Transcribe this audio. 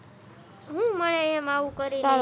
હું મળે એમ આવું કરી ને